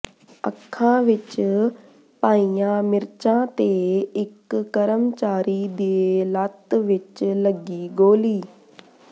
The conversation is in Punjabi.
ਅੱਖਾਂ ਵਿੱਚ ਪਾਈਆਂ ਮਿਰਚਾਂ ਤੇ ਇੱਕ ਕਰਮਚਾਰੀ ਦੇ ਲੱਤ ਵਿੱਚ ਲੱਗੀ ਗੋਲੀ